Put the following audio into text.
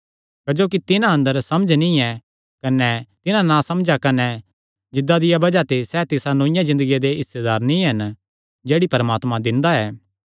क्जोकि तिन्हां अंदर समझ नीं ऐ कने तिसा नासमझा कने जिद्दा दिया बज़ाह ते सैह़ तिसा नौईआं ज़िन्दगिया दे हिस्सेदार नीं हन जेह्ड़ी परमात्मा दिंदा ऐ